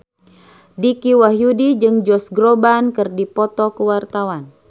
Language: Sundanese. Dicky Wahyudi jeung Josh Groban keur dipoto ku wartawan